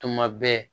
Tuma bɛɛ